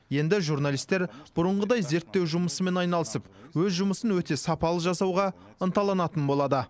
енді журналистер бұрынғыдай зерттеу жұмысымен айналысып өз жұмысын өте сапалы жасауға ынталанатын болады